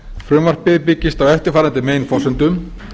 frumvarpið byggist á eftirfarandi meginforsendum